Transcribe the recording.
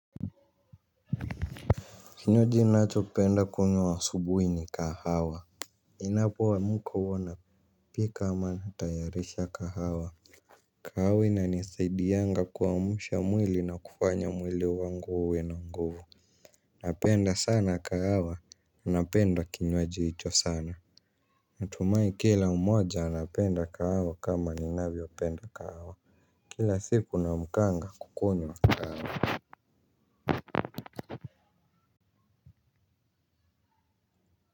Kinywaji nachopenda kunywa asubuhi ni kahawa. Inapoamka huwa napika ama natayarisha kahawa. Kahawa inanisaidianga kuamsha mwili na kufanya mwili wangu uwe na nguvu. Napenda sana kahawa napenda kinywaji hicho sana. Natumai kila umoja anapenda kahawa kama ninavyopenda kahawa. Kila siku naamkanga kukunywa.